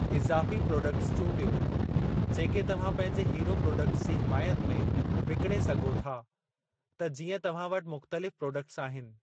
इज़ाफ़ी प्रॉडक्टस चूंडियो जेके तव्हां पंहिंजे हीरो प्रोडक्ट्स जी हिमायत में विकिणे सघो था त जीअं तव्हां वटि मुख़्तलिफ़ प्रॉडक्टस आहिनि।